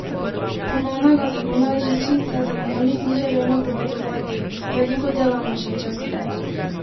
Ponovnega zagona žičnice za Dnevnik ni želel napovedovati: 'Veliko dela nas še čaka.